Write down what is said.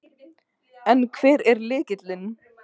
En hver er lykillinn?